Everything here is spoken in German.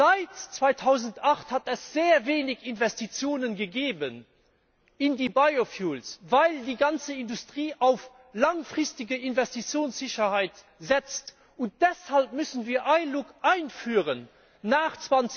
Seit 2008 hat es sehr wenig Investitionen gegeben in die Biofuels weil die ganze Industrie auf langfristige Investitionssicherheit setzt, und deshalb müssen wir ILUC einführen nach